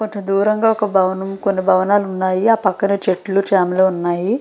కొంత దూరంగా ఒక భవనం కొన్ని భవనాలు ఉన్నాయి ఆ పక్కనే చెట్లు చేమలు ఉన్నాయి.